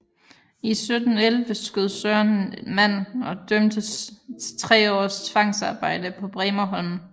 I 1711 skød Søren en mand og dømtes til tre års tvangsarbejde på Bremerholm